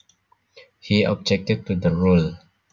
He objected to the rule